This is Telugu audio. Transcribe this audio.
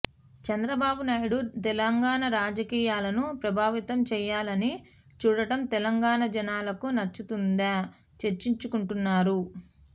చంద్రబాబునాయుడు తెలంగాణ రాజకీయాలను ప్రభావితం చేయాలని చూడటం తెలంగాణ జనాలకు నచ్చుతుందా చర్చించుకుంటున్నారు